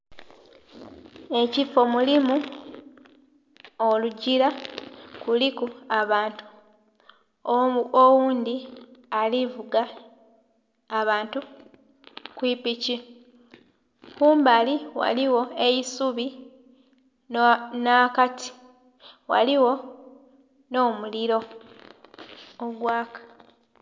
Ekifo mulimu olugila kuliku abantu, oghundhi ali vuga abantu ku piki. Kumbali ghaligho eisubi nha kati ghaligho nho mulilo ogwala.